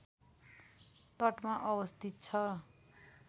तटमा अवस्थित छ